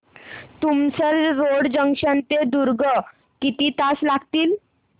Tumsar road junction ते दुर्ग किती तास लागतील